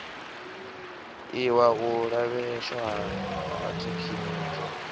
iwa u lavheieswa ha rathekiniki